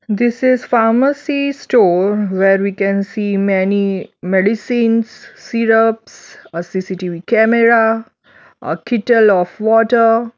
This is pharmacy store where we can see many medicines syrups a C_C_T_V camera a kettel of water.